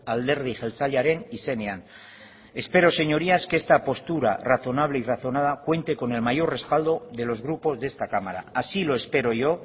alderdi jeltzalearen izenean espero señorías que esta postura razonable y razonada cuente con el mayor respaldo de los grupos de esta cámara así lo espero yo